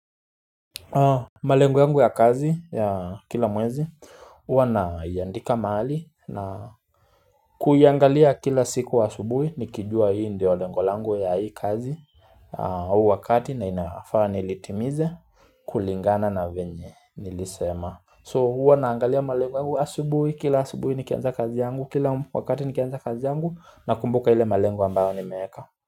Malengo yangu ya kazi ya kila mwezi huwa na iandika mahali na kuiangalia kila siku asubuhi Nikijua hii ndio lengu langu ya hii kazi au wakati na inafaa nilitimize kulingana na venye nilisema So huwa naangalia malengo asubuhi Kila subuhi nikianza kazi yangu Kila wakati nikianza kazi yangu Nakumbuka ile malengo ambayo nimeeka.